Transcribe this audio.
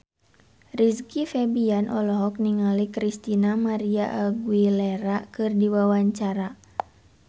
Rizky Febian olohok ningali Christina María Aguilera keur diwawancara